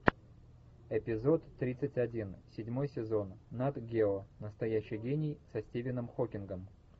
эпизод тридцать один седьмой сезон над гео настоящий гений со стивеном хокингом